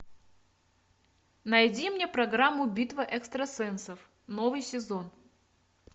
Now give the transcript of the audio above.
найди мне программу битва экстрасенсов новый сезон